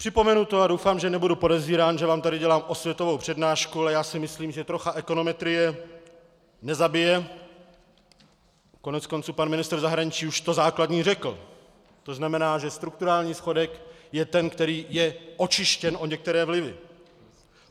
Připomenu to - a doufám, že nebudu podezírán, že vám tady dělám osvětovou přednášku, ale já si myslím, že trocha ekonometrie nezabije, koneckonců pan ministr zahraničí už to základní řekl, to znamená, že strukturální schodek je ten, který je očištěn o některé vlivy.